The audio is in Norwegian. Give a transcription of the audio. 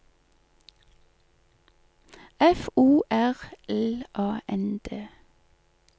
F O R L A N D